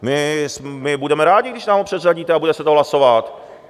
My budeme rádi, když nám ho předřadíte a bude se to hlasovat.